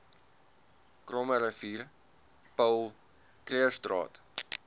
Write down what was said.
krommerivier paul krugerstraat